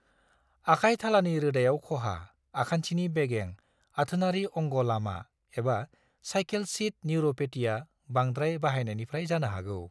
आखाइ थालानि रोदायाव खहा, आखान्थिनि बेगें, आथोनारि अंग' लामा एबा सायखेल सीट निउर'पेटीआ बांद्राय बाहायनायनिफ्राय जानो हागौ।